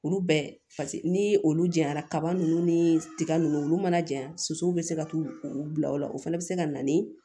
Olu bɛɛ paseke ni olu janyana kaba ninnu ni tiga nunnu olu mana janya sosow be se ka t'u bila ola o fɛnɛ be se ka na ni